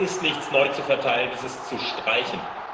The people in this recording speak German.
Es ist nichts neu zu verteilen, es ist zu streichen.